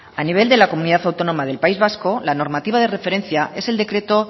a nivel de la comunidad autónoma del país vasco la normativa de referencia es el decreto